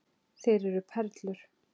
Þeir eru perlur.